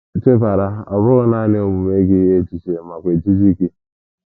Chebara, ọ bụghị nanị omume gị echiche makwa ejiji gị.